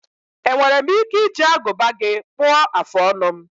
Enwere m ike iji aguba gị kpuọ afụ ọnụ?